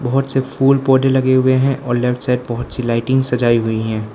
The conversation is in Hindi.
बहुत से फुल पौधे लगे हुए हैं और लेफ्ट साइड बहुत सी लाइटिंग सजाई हुई है।